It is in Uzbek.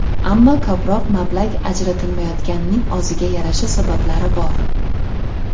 Ammo ko‘proq mablag‘ ajratilmayotganining o‘ziga yarasha sabablari bor.